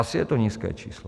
Asi je to nízké číslo.